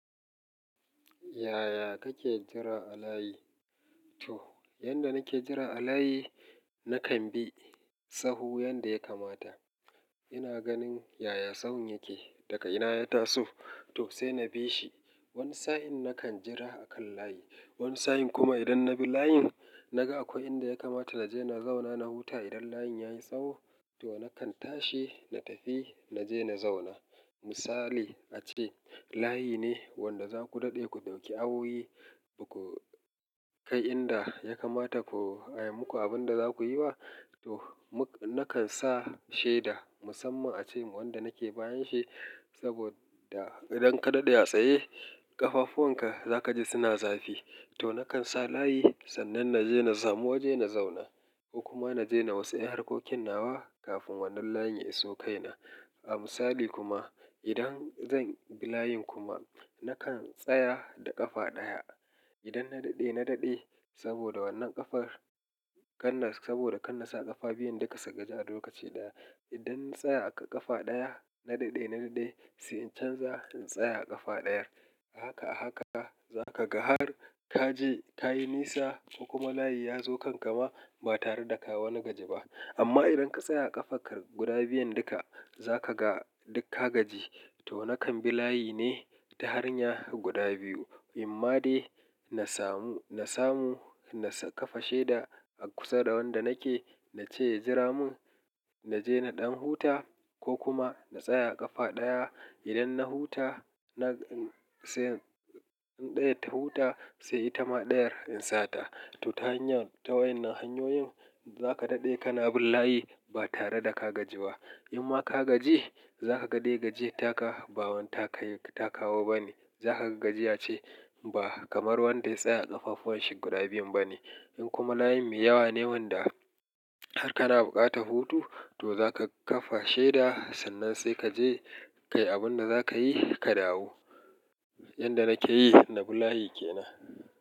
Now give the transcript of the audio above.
Yaya kake jira a layi? To, yanda nake jira a layi, na kan bi tsaho yanda ya kamata. Ina ganin yaya tsawon yake, daga ina ya taso. To sai na bi shi. Wani sa'in na kan jira a kan layi. Wani sa'in kuma idan na bi layin, naga akwai inda ya kamata na je na zauna na huta idan layin ya yi tsawo, to na kan tashi na tafi na je na zauna. Misali, a ce layi ne wanda za ku daɗe ku ɗauki awoyi, ku kai inda ya kamata ku ai, muku abin da za ku yi ba, to na kan sa sheda musamman a ce wanda nake bayan shi. Saboda idan ka daɗe a tsaye, ƙafafuwan ka za ka ji suna zafi. To na kan sa layi sannan na je na samu waje na zauna ko kuma na je na wasu yin harkokin nawa kafin wannan layin ya iso kai na. A misali kuma, idan zan bi layin kuma, na kan tsaya da ƙafa ɗaya. Idan na daɗe, na daɗe saboda wannan ƙafar-- saboda kana sa ƙafa biyun duka su gaji har lokaci ɗaya. Idan na tsaya a ƙafa ɗaya, na daɗe, na daɗe sai in canza in tsaya a ƙafa ɗayar. A haka, a haka za ka ga har ka je ta yi nisa ko kuma layi ya zo kan ka ma ba tare da ka wani gaji ba. Amma idan ka tsaya ƙafarka guda biyun duka, za ka ga duk ka gaji. To na kan bi layi ne ta hanyar guda biyu. In ma dai na samu, na samu na sa ka fa sheda a kusa da wanda nake na ce ya jira mun, na je na ɗan huta ko kuma na tsaya a ƙafa ɗaya. Idan na huta, na-- sai ɗaya ta huta sai ita ma ɗayar in sata. To ta hanyar-- ta wayen hanyoyin za ka daɗe kana bin layi ba tare da ka gaji ba. In ma ka gaji, za ka ga dai gajiyar taka, ba wadda ka yi ka kawo ba ne. Za ka ga gajiya ce ba kamar wanda ya tsaya ƙafafuwan shi guda biyun ba ne. In kuma layi mai yawa ne wanda har kana bukata hutu, to za ka kafa sheda sannan sai ka je ka yi abin da za ka yi ka dawo. Yanda nake yi, na bi layi ke nan.